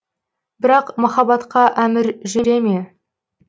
бірақ махаббатқа әмір жүре ме